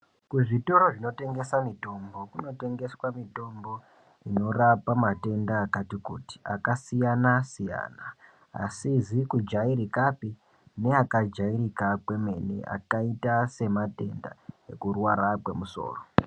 Kuzvitoro zvinotengesa mitombo kunotengeswa mitombo inorapa matenda akati kuti, akasiyana siyana asizi kujairikapi neakajairika kwemene akaita sematenda ekurwara kwemusoro.